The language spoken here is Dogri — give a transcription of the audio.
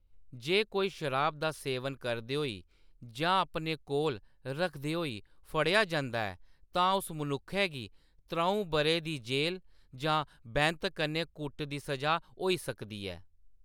जे कोई शराब दा सेवन करदे होई जां अपने कोल रखदे होई फड़ेआ जंदा ऐ, तां उस मनुक्खै गी त्रʼऊं बʼरें दी जेल जां बैंत कन्नै कुट्ट दी सʼजा होई सकदी ऐ।